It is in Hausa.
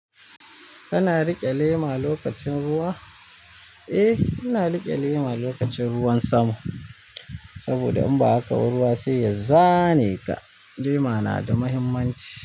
Kana riƙe lema lokacin ruwa? Eh, ina riƙe lema lokacin ruwan sama saboda in ba haka ruwa sai zane ka, lema na da muhimmanci.